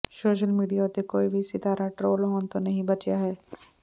social media ਉੱਤੇ ਕੋਈ ਵੀ ਸਿਤਾਰਾ ਟਰੋਲ ਹੋਣ ਤੋਂ ਨਹੀਂ ਬਚਿਆ ਹੈ